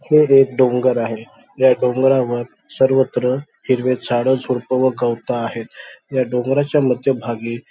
हे एक डोंगर आहे. या डोंगरावर सर्वत्र हिरवे झाडं झुडपं व गवत आहेत. या डोंगराच्या मध्यभागी--